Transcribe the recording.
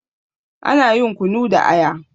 Ana yin kunu da aya.